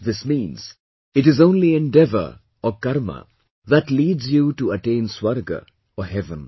This means, it is only endeavour or Karma that leads you to attain Swarga, or heaven